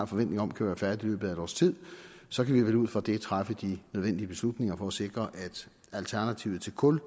forventning om kan være færdig i løbet af et års tid så kan vi vel ud fra den træffe de nødvendige beslutninger for at sikre at alternativet til kul